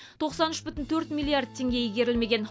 тоқсан үш бүтін төрт милиард теңге игерілмеген